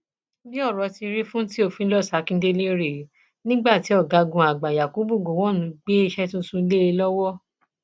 bí ọrọ ti rí fún theophilous akíndélé rèé nígbà tí ọgágun àgbà yakubu gọwọn gbé iṣẹ tuntun lé e lọwọ